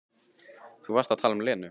Þú varst að tala um Lenu.